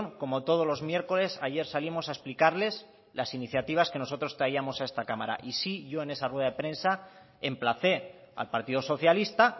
como todos los miércoles ayer salimos a explicarles las iniciativas que nosotros traíamos a esta cámara y sí yo en esa rueda de prensa emplacé al partido socialista